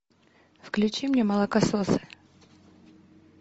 включи мне молокососы